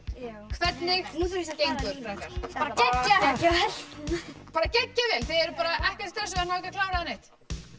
hvernig gengur strákar geggjað bara geggjað vel þið eruð bara ekkert stressaðir náið klára eða neitt